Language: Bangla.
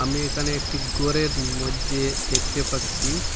আমি এখানে একটি গরের মইধ্যে দেখতে পাচ্ছি।